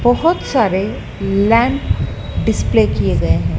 बहोत सारे lamp display किए गए हैं।